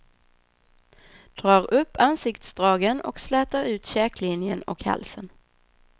Drar upp ansiktsdragen och slätar ut käklinjen och halsen.